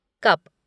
cup